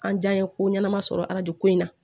An jɛn ye ko ɲɛnama sɔrɔ alajo ko in na